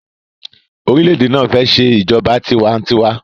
orilẹ-ède náa fè ṣe ìjọba tiwa-n-tiwa.